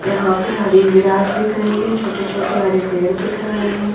यहां पे हरि ग्रास दिख रही है छोटे छोटे हरे पेड़ दिख रहे हैं।